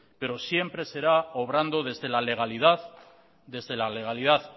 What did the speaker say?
pero siempre será obrando desde la legalidad desde la legalidad